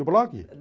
No blog?